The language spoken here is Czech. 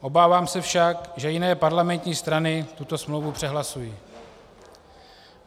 Obávám se však, že jiné parlamentní strany tuto smlouvu přehlasují.